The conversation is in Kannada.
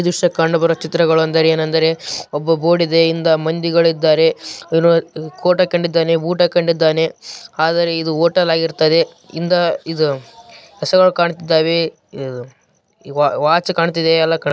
ಈ ದೃಶ್ಯದಲ್ಲಿ ಕಂಡುಬರುವ ಚಿತ್ರಾವೆನೆಂದರೆ ಒಬ್ಬ ಬೋರ್ಡ್‌ ಇದೆ ಹಿಂದೆ ಮಂದಿಗಳು ಇದ್ದಾರೆ ಕೋಟ್‌ ಹಾಕಿಕೊಂಡಿದ್ದಾನೆ ಬೂಟ್‌ ಹಾಕಿಕೊಂಡಿದ್ದಾನೆ ಆದರೆ ಇದು ಹೊಟೇಲ್‌ ಆಗಿರುತ್ತದೆ ಹಿಂದೆ ಹೆಸರು ಕಾಣುತ್ತಾ ಇವೆ ವಾಚ್‌ ಕಾಣ್ತಾ ಇವೆ ಎಲ್ಲಾ.